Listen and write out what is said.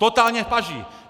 Totálně v paži!